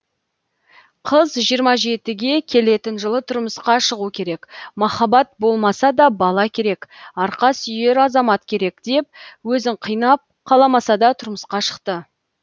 қыз жиырма жетіге келетін жылы тұрмысқа шығу керек махаббат болмаса да бала керек арқа сүйер азамат керек деп өзін қинап қаламасада тұрмысқа шықты